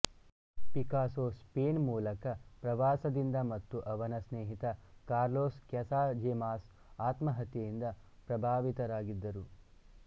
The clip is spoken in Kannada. ಪಿಕಾಸೊ ಸ್ಪೇನ್ ಮೂಲಕ ಪ್ರವಾಸದಿಂದ ಮತ್ತು ಅವನ ಸ್ನೇಹಿತ ಕಾರ್ಲೋಸ್ ಕ್ಯಾಸಾಜೆಮಾಸ್ ಆತ್ಮಹತ್ಯೆಯಿಂದ ಪ್ರಭಾವಿತರಾಗಿದ್ದರು